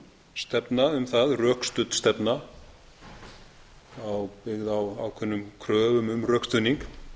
stefna um það rökstudd stefna byggð á ákveðnum kröfum um rökstuðning